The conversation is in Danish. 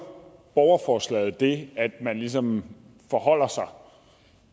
borgerforslaget det at man ligesom forholder sig